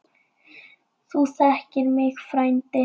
Þú þekkir mig frændi.